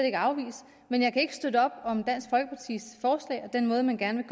ikke afvise men jeg kan ikke støtte op om og den måde man gerne